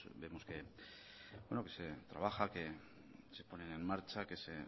vemos que se trabaja que se ponen en marcha que se